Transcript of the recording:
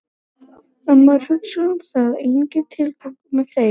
Ef maður hugsar um það er enginn tilgangur með þeim.